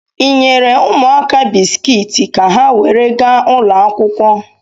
Ị nyere ụmụaka bisikiiti ka ha were gaa ụlọ akwụkwọ?